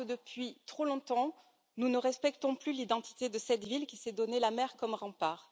Parce que, depuis trop longtemps, nous ne respectons plus l'identité de cette ville qui s'est donné la mer comme rempart.